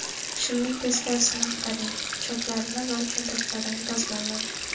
Shimning teskarisini ag‘daring, choklarini va cho‘ntaklarini dazmollang.